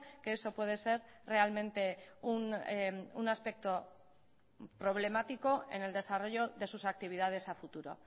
que eso puede ser realmente un aspecto problemático en el desarrollo de sus actividades a futuro